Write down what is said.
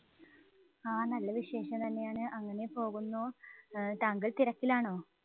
ആഹ് നല്ല വിശേഷം തന്നെയാണ്. അങ്ങനെ പോകുന്നു. ഏർ താങ്കള്‍ തിരക്കിലാണോ?